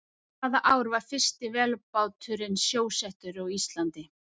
Hvaða ár var fyrsti vélbáturinn sjósettur á Íslandi?